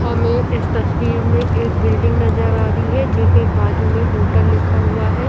हमे इस तस्वीर में एक बिल्डिंग नज़र आ रही है जिसके बाजु में होटल लिखा हुआ है।